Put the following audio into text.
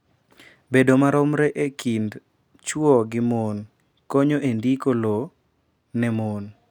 bedo maromre e kind chwo gi mon konyo e ndiko lowo ne mon.